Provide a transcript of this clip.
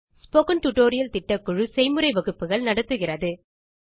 spoken tutorial திட்டக்குழு செய்முறை வகுப்புகள் நடத்துகிறது